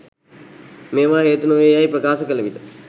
මේවා හේතු නොවේ යැයි ප්‍රකාශ කළ විට